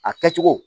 A kɛcogo